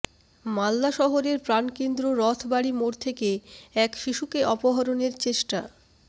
মালদা শহরের প্রাণকেন্দ্র রথবাড়ি মোড় থেকে এক শিশুকে অপহরণের চেষ্টা